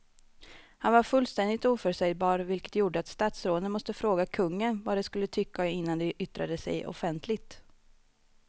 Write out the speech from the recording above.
Han var fullständigt oförutsägbar vilket gjorde att statsråden måste fråga kungen vad de skulle tycka innan de yttrade sig offentligt.